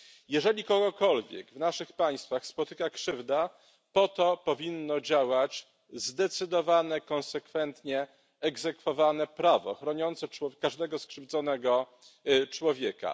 Jeżeli kogokolwiek w naszych państwach spotyka krzywda, to po to powinno działać zdecydowane, konsekwentnie egzekwowane prawo chroniące każdego skrzywdzonego człowieka.